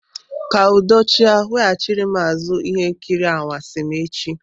Kaa udo achị a, weghachiri m azụ ihe nkiri anwansi m echi!